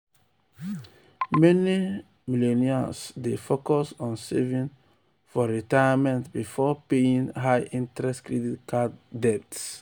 meni millennials dey focus on saving for retirement before paying high-interest credit card debts.